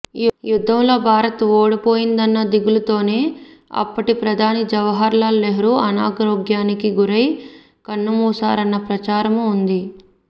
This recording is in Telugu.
యుద్ధంలో భారత్ ఓడిపోయిందన్న దిగులుతోనే అప్పటి ప్రధాని జవహర్ లాల్ నెహ్రూ అనారోగ్యానికి గురై కన్నుమూశారన్న ప్రచారమూ ఉంది